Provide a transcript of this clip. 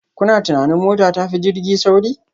Kuna tunanin mota ta fi jirgi sauri?